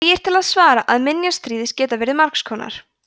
því er til að svara að minjar stríðs geta verið margs konar